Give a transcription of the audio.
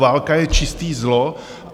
Válka je čisté zlo.